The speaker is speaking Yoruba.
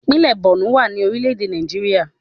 Ìpínlẹ̀ Bọ̀nú wà ní orílẹ̀ èdè Nàìjíríà